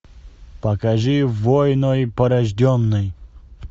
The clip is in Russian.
покажи войной порожденный